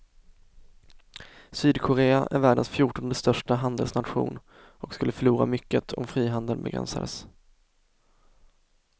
Sydkorea är världens fjortonde största handelsnation och skulle förlora mycket om frihandeln begränsades.